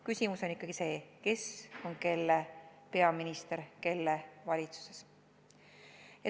Küsimus on ikkagi see, kes on kelle peaminister kelle valitsuses.